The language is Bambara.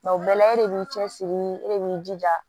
o bɛɛ la e de b'i cɛsiri e de b'i jija